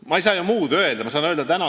Ma ei saa ju muud öelda.